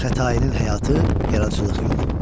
Xətainin həyatı, yaradıcılıq yolu.